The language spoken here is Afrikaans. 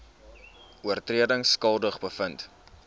oortredings skuldig bevind